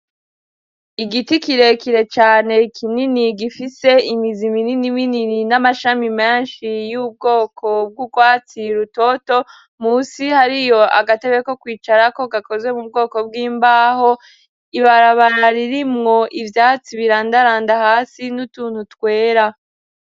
Igiti kirekire cane kinini gifise imizi minini minini n'amashami menshi y'ubwoko bw'urwatsi rutoto, musi hariyo agatebe ko kwicarako gakozwe mu bwoko bw'imbaho, ibarabara ririmwo ivyatsi birandaranda hasi n'utuntu twera.